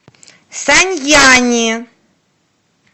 саньяни